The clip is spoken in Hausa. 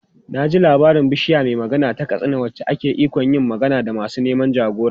Na ji labarin Bishiya mai Magana ta Katsina wacce ke da ikon yin magana da masu neman jagora.